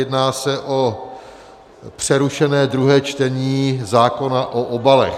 Jedná se o přerušené druhé čtení zákona o obalech.